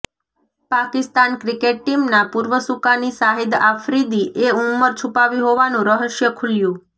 Pakistan cricket ટીમનાં પૂર્વ સુકાની સાહિદ આફ્રિદી એ ઉંમર છુપાવી હોવાનું રહસ્ય ખુલ્યું